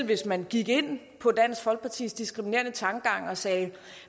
hvis man gik ind på dansk folkepartis diskriminerende tankegang og sagde at